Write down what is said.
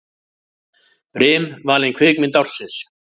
Brim valin kvikmynd ársins